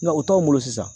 Nga o t'anw bolo sisan